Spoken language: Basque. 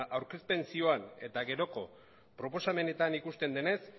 aurkezpen zioan eta geroko proposamenetan ikusten denez